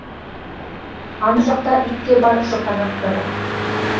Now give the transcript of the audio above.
ана жақта ит те бар шұқанақ та бар